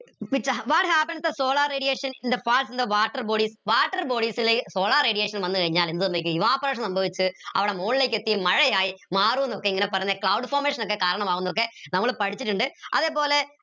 what happens in the solar radiation in the past in the water bodies water bodies ലെ solar radiation വന്ന് കഴിഞ്ഞാൽ എന്ത് സംഭവിക്കും evaporation സംഭവിച്ച് അവിടെ മോളിലേക്ക് എത്തി മഴയായി മാറുന്നൊക്കെ ഇങ്ങനെ cloud formation ഒക്കെ കരണമാവുന്നൊക്കെ നമ്മൾ പഠിച്ചിട്ടിണ്ട് അതേപോലെ